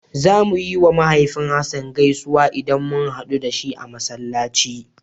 Zamu yiwa mahaifin Hassan gaisuwa idan mun haɗu da shi a Masallaci.